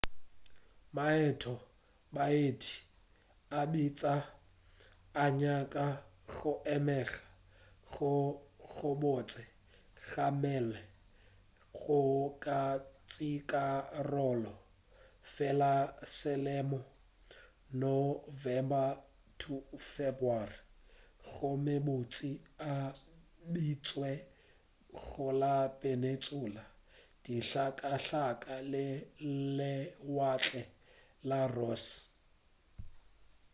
maeto a baeti a bitša a nyaka go emega go gobotse ga mmele go ka tšeakarolo fela ka selemo nov-feb gomme bontši a beetšwe go la peninsula dihlakahlaka le lewatle la ross